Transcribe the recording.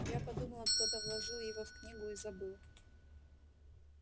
я подумала кто-то вложил его в книгу и забыл